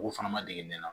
U k'u fana ma dege ne na